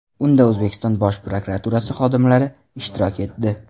Unda O‘zbekiston Bosh prokuraturasi xodimlari ishtirok etdi.